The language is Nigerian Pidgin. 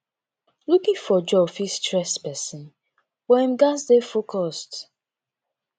looking for job fit stress pesin but im gats dey focused